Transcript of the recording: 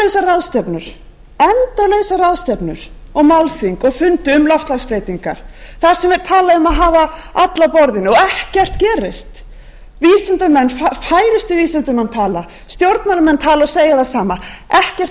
sitja endalausar ráðstefnur málþing og fundi um loftslagsbreytingar þar sem er talað um að hafa alla að borðinu og ekkert gerist vísindamenn færustu vísindamenn tala stjórnmálamenn tala og segja það sama ekkert